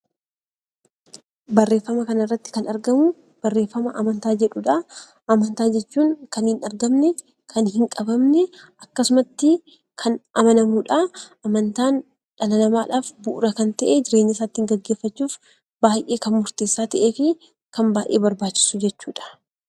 Barreeffama kana irratti Kan argamu barreeffama amantaa jedhudha. Amantaa jechuun Kan hin argamne, Kan hin qabamne, akkasumatti Kan amanamudha. Amantaan Dhala namaadhaaf bu'uura Kan ta'e jireenya isaa ittiin geggeeffachuuf baay'ee Kan murteessaa ta'ee fi Kan barbaachisu jechuudha.